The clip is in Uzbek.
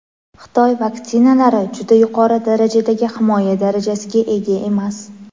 Xitoy vaksinalari "juda yuqori darajadagi himoya darajasiga ega emas".